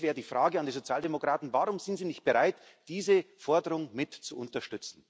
Das wäre die Frage an die Sozialdemokraten Warum sind Sie nicht bereit, diese Forderung mit zu unterstützen?